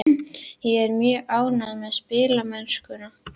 Ég er mjög ánægður með spilamennskuna en ekki með úrslitin.